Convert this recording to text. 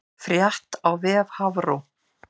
Frétt á vef Hafró